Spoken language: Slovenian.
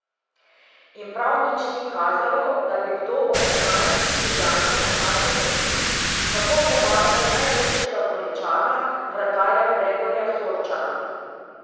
In prav nič ni kazalo, da bi kdo od enajstih Ljubljančanov našel način, kako premagati najboljšega Goričana, vratarja Gregorja Sorčana.